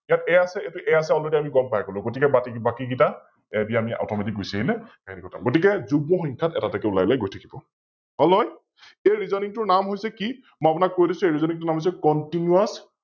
ইয়াত A আছে, ইয়াতে A আছে Allready আমি গম পাই গলো গতিকে বাতি, বাকি কৈ ইতা Automatic গুছি আহিলে, গতিকে যুগ্ম সংখ্যাত এটা এটা কৈ ওলাই গৈ থাকিব । হল নহয়? কিন্তু Reasoning নাম হৈছে কি মই আপোনাক কৈ দিছে এই Reasoning নাম হৈছে continous